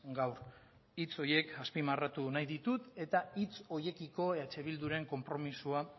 gaur hitz horiek azpimarratu nahi ditut eta hitz horiekiko eh bilduren konpromisoa